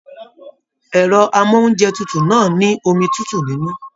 Ẹrọ amounjẹ tútù náà ni omi tútù nínú.